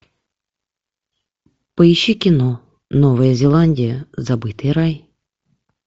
поищи кино новая зеландия забытый рай